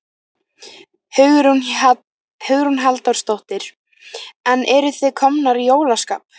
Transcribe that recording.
Hugrún Halldórsdóttir: En eruð þið komnar í jólaskap?